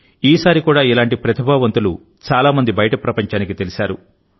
ఈసారి కూడా ఇలాంటి ప్రతిభావంతులు చాలా మంది బయటి ప్రపంచానికి తెలిశారు